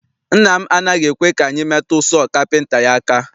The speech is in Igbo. Nna m anaghị ekwe ka anyị metu sọọ kapịnta ya aka.